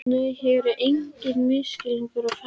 Nei, hér er einhver misskilningur á ferðinni.